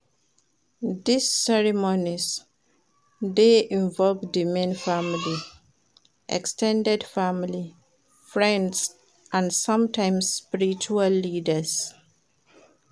These ceremonies dey involve di main family, ex ten ded family, friends and sometimes spiritual leaders